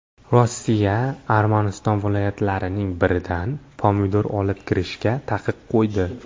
Rossiya Armaniston viloyatlarining biridan pomidor olib kirishga taqiq qo‘ydi.